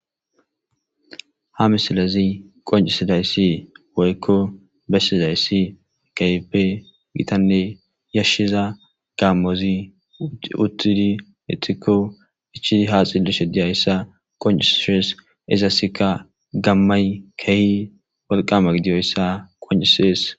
ha misilazi qoncisidayssi woykko bessizayssi kehppe gitanne yashshiza gaammozi uttidi itikko ichi ha xillishe diyayssa qoncisiees izasikka gammay kehi walqama gidiyoyssa qoncisees